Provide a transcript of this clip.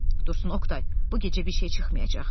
Dursun Oqtay, bu gecə bir şey çıxmayacaq.